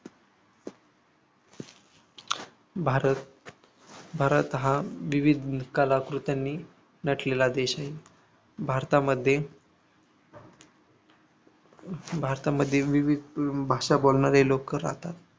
भारत भारत हा विविध कलाकृत्यांनी नटलेला देश आहे भारतामध्ये भारतामध्ये विविध भाषा बोलणारे लोक राहतात.